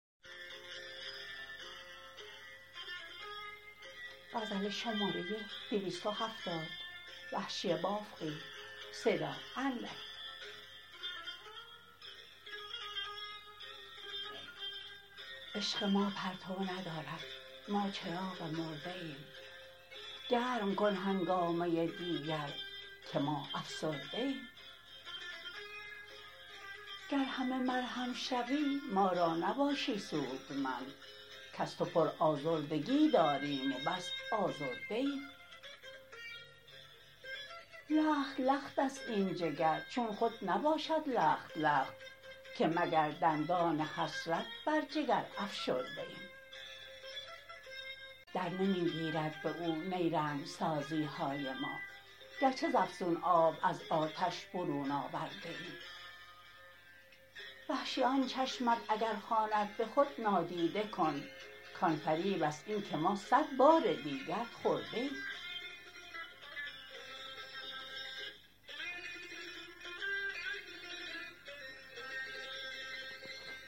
عشق ما پرتو ندارد ما چراغ مرده ایم گرم کن هنگامه دیگر که ما افسرده ایم گر همه مرهم شوی ما را نباشی سودمند کز تو پر آزردگی داریم و بس آزرده ایم لخت لخت است این جگر چون خود نباشد لخت لخت که مگر دندان حسرت بر جگر افشرده ایم در نمی گیرد به او نیرنگ سازی های ما گرچه ز افسون آب از آتش برون آورده ایم وحشی آن چشمت اگر خواند به خود نادیده کن کان فریب است اینکه ما صد بار دیگر خورده ایم